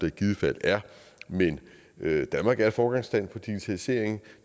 i givet fald er men danmark er et foregangsland for digitalisering og